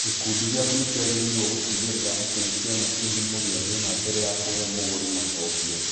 Gĩkundi gĩaku nĩ kĩagĩrĩirũo gũtigĩrĩra atĩ nĩ kĩona kĩhumo gĩa thĩna mbere ya kũhe mũgũri macokio.